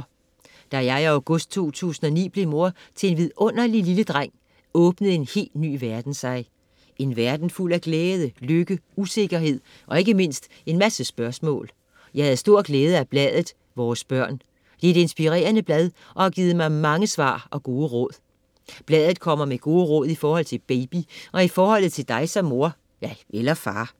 Da jeg i august 2009 blev mor til en lille vidunderlig dreng åbnede en helt ny verden sig. En verden fuld af glæde, lykke, usikkerhed og ikke mindst en masse spørgsmål. Jeg havde stor glæde af bladet Vores Børn. Det er et inspirerende blad og har givet mig mange svar og gode råd. Bladet kommer med gode råd i forhold til baby og i forhold til dig som mor (eller far).